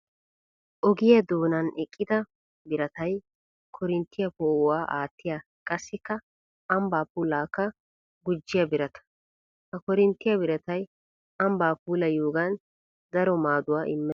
Ogiya doonan eqidda biratay koorinttiya poo'uwaa aatiya qassikka ambba puulakka gujjiya birata. Ha koorinttiya biratay ambba puulayiyoogan daro maaduwa imees.